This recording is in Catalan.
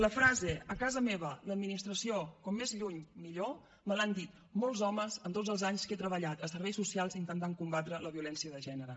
la frase a casa meva l’administració com més lluny millor me l’han dit molts homes en tots els anys que he treballat a serveis socials intentant combatre la violència de gènere